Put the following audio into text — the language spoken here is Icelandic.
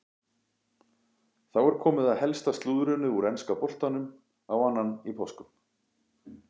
Þá er komið að helsta slúðrinu úr enska boltanum á annan í páskum.